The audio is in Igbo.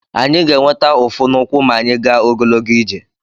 Anyị ga-enweta ụfụ n'ụkwụ ma anyị gaa ogologo ije.